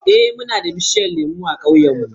Eh, muna da bishiyun lemu a ƙauyen mu.